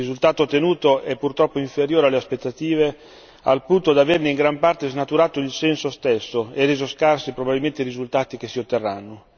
Il risultato ottenuto è purtroppo inferiore alle aspettative, al punto da averne in gran parte snaturato il senso stesso e reso scarsi probabilmente i risultati che si otterranno.